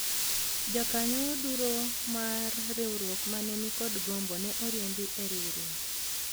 jokanyo duro mar riwruok mane nikod gombo ne oriembi e riwruok